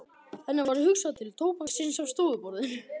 Henni varð hugsað til tóbaksins á stofuborðinu.